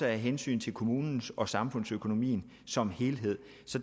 af hensyn til kommunens økonomi og samfundsøkonomien som helhed